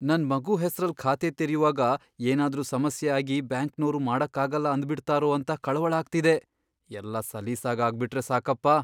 ನನ್ ಮಗು ಹೆಸ್ರಲ್ಲ್ ಖಾತೆ ತೆರ್ಯುವಾಗ ಏನಾದ್ರೂ ಸಮಸ್ಯೆ ಆಗಿ ಬ್ಯಾಂಕ್ನೋರು ಮಾಡಕ್ಕಾಗಲ್ಲ ಅಂದ್ಬಿಡ್ತಾರೋ ಅಂತ ಕಳವಳ ಆಗ್ತಿದೆ, ಎಲ್ಲ ಸಲೀಸಾಗ್ ಆಗ್ಬಿಟ್ರೆ ಸಾಕಪ್ಪ.